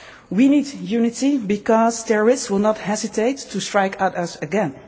We need unity because terrorists will not hesitate to strike at us again.